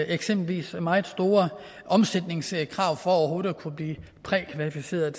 eksempelvis meget store omsætningskrav for overhovedet at kunne blive prækvalificeret